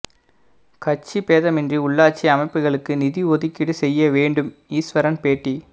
கட்சி பேதமின்றி உள்ளாட்சி அமைப்புகளுக்கு நிதி ஒதுக்கீடு செய்ய வேண்டும் ஈஸ்வரன் பேட்டி